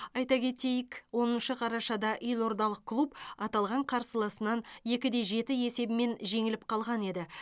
айта кетейік оныншы қарашада елордалық клуб аталған қарсыласынан екі де жеті есебімен жеңіліп қалған еді